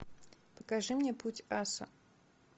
покажи мне путь аса